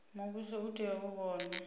muvhuso u tea u vhona